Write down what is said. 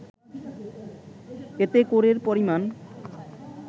এতে করের পরিমাণ